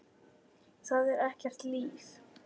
Það er ekkert líf.